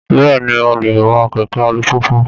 Bẹ́ẹ̀ ni, mo lè wa kẹ̀kẹ́ alùpùpù